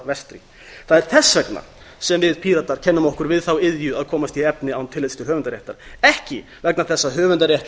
vestri það er þess vegna sem við píratar kennum okkur við þá iðju að komast í efni án tillits til höfundaréttar ekki vegna þess að höfundaréttar